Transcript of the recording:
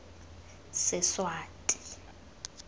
seswati